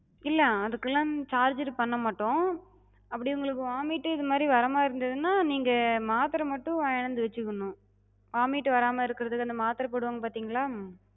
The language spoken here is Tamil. இல்ல, அதுகெல்லா charge எது பண்ண மாட்டோ. அப்டி உங்களுக்கு vomite இதுமாரி வர மாதிரி இருந்ததுனா, நீங்க மாத்தர மட்டு வாங்கிட்டு வந்து வச்சுக்கணு. vomite வராம இருக்கறதுக்கு அந்த மாத்தர போடுவாங்க பாத்திங்களா,